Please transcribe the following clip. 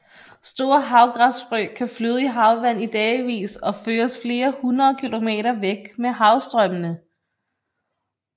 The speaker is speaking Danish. Store havgræsfrø kan flyde i havvand i dagevis og føres flere hundrede kilometer væk med havstrømmene